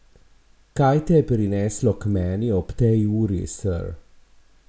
Kaj te je prineslo k meni ob tej uri, ser?